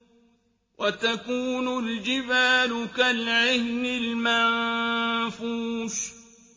وَتَكُونُ الْجِبَالُ كَالْعِهْنِ الْمَنفُوشِ